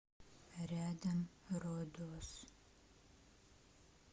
рядом родос